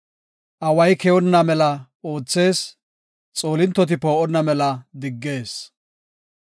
Away keyonna mela oothees; xoolintoti poo7onna mela diggees.